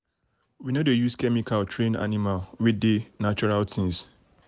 we no dey use chemical train animal we dey natural things